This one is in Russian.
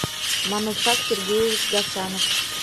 манушак сергеевич гасанов